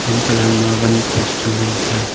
untoh la ama wan post chu ngan tai aa.